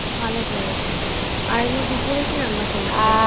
ভালো করেছ। আর এমনি দুপুরে কি রান্না করেছো?